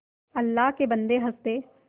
अल्लाह के बन्दे हंस दे